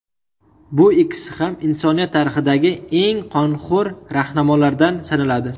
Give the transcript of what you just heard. Bu ikkisi ham insoniyat tarixidagi eng qonxo‘r rahnamolardan sanaladi.